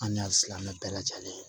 An ni a silamɛ bɛɛ lajɛlen